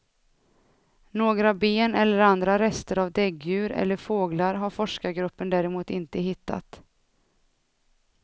Några ben eller andra rester av däggdjur eller fåglar har forskargruppen däremot inte hittat.